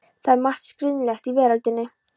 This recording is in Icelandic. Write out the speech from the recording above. Það er margt skringilegt í veröldinni.